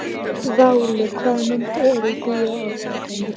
Váli, hvaða myndir eru í bíó á laugardaginn?